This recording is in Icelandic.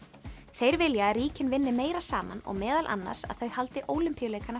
þeir vilja að ríkin vinni meira saman og meðal annars að þau haldi Ólympíuleikana